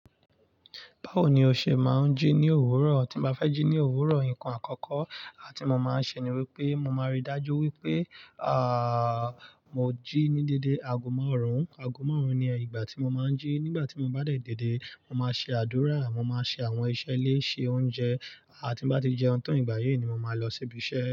Báwo ni o ṣe máa ń jí ní òwúrọ̀? Tí mo bá fẹ́ jí ní òwúrọ̀, ǹkan àkọ́kọ́ áti mo máa ṣe ni wípé mo máa rí dájú wípé ààh, mo jí ní dédé ago màárùn, ago màárùn ni ìgbà tí mo máa ń jí. Nígbà tí mo bá dé dédé, mo máa ṣe àdúrà, mo máa ṣe àwọn iṣẹ́ ilé, ṣe oúnjẹ, àti bá tí jẹun tán ìgbà yẹn ni mo máa lọ síbi iṣẹ́